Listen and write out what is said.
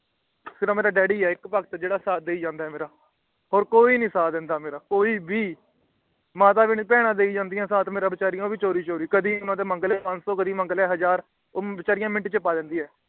ਸਿਰਫ ਇਕ ਡੈਡੀ ਹੀ ਹ ਮੇਰਾ ਜੇਦਾ ਸਾਥ ਦੇਈ ਜਾਂਦਾ ਹੈ ਹੋਰ ਕੋਈ ਨੀ ਸਾਥ ਦਿੰਦਾ ਮੇਰਾ ਕੋਈ ਭੀ ਮਾਤਾ ਭੀ ਨੀ ਬਹਿਣਾ ਬੀਚਾਰਿਆ ਦੇਈ ਜਾਂਦੀ ਹੈ ਸਾਥ ਊ ਭੀ ਚੋਰੀ ਚੋਰੀ ਮੈਂ ਕਦੇ ਮੰਗ ਲੈ ਪੰਜਸੋ ਤੇ ਕਦੇ ਮੰਗ ਲੈ ਹਜ਼ਾਰ ਉਹ ਵਿਚਾਰਿਆ ਮਿੰਟ ਛੇ ਪਾ ਦਿੰਦੀ ਹੈ